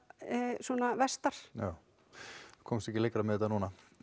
svona vestar við komumst ekki lengra með þetta núna